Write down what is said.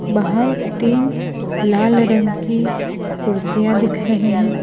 बाहर तीन लाल रंग की कुर्सियां दिख रही हैं।